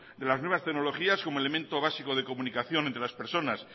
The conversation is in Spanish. de las nuevas tecnologías como elemento básico de comunicación entre las personas